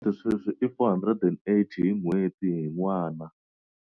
Sweswi i R480 hi n'hweti hi n'wana.